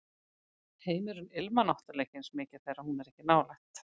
Heimurinn ilmar náttúrlega ekki eins mikið þegar hún er ekki nálægt